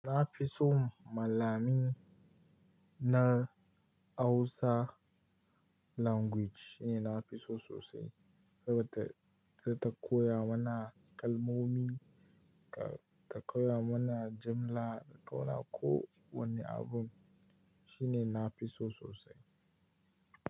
Na fi so malami na ausa language shine na fi so sosai. Saboda ta, ta, ta koya mana kalmomi, ta, ta koya mana jimla, ta koya mana ko wani abun. Shine na fi so sosai.